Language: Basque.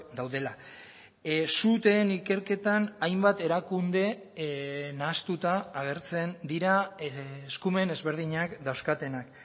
daudela suteen ikerketan hainbat erakunde nahastuta agertzen dira eskumen ezberdinak dauzkatenak